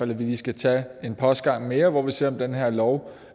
vi lige tager en postgang mere hvor vi ser om den her lov